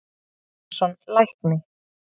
Ólaf Tryggvason, lækni